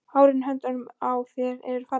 Hárin á höndunum á þér eru falleg.